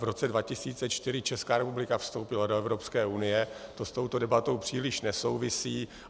V roce 2004 Česká republika vstoupila do Evropské unie, to s touto debatou příliš nesouvisí.